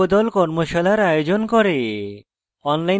কর্মশালার আয়োজন করে